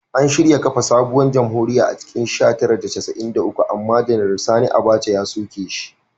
An shirya kafa sabuwar jamhuriya a cikin sha tara da casa’in da uku amma Janar Sani Abaca ya soke shi.